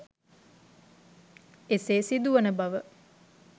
එසේ සිදුවන බව